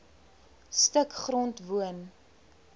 stuk grond woon